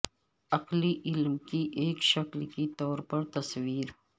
عقلی علم کی ایک شکل کے طور پر تصور